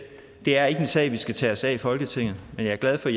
det ikke er en sag vi skal tage os af i folketinget men jeg er glad for